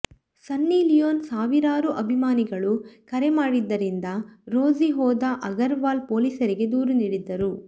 ಸನ್ನಿ ಲಿಯೋನ್ ಸಾವಿರಾರು ಅಭಿಮಾನಿಗಳು ಕರೆ ಮಾಡಿದ್ದರಿಂದ ರೋಸಿ ಹೋದ ಅಗರ್ವಾಲ್ ಪೊಲೀಸರಿಗೆ ದೂರು ನೀಡಿದ್ದರು